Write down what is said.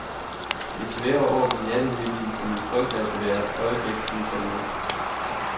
Det svæver oppe i nattehimlen, så man frygter, at det hvert øjeblik kunne falde ned.